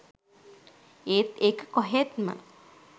ඒත් ඒක කොහෙත්ම